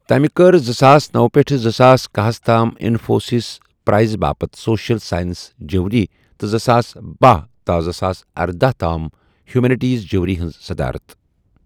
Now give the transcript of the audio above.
تمہِ كٕر زٕساس نوَ پیٹھٕ زٕساس کَہہ ہس تام انفوسس پرائز باپتھ سوشل سائنسز جیوری تہٕ زٕساس بہہَ تا زٕساس ارداہ تام ہیومینٹیز جیوری ہنز صدارت ۔